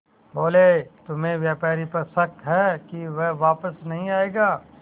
बोले तुम्हें व्यापारी पर शक है कि वह वापस नहीं आएगा